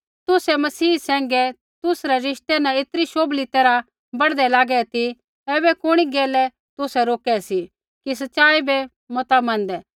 तुसै मसीह सैंघै तुसरै रिश्ते न ऐतरी शोभली तैरहा बढ़दै लागै ती ऐबै कुणी गैलै तुसै रोके सी कि सच़ाई बै मता मनदै